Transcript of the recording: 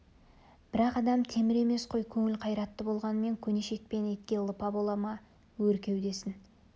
бірақ адам темір емес қой көңіл қайратты болғанмен көне шекпен етке лыпа бола ма өр кеудесін